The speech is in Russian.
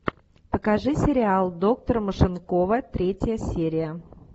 покажи сериал доктор машинкова третья серия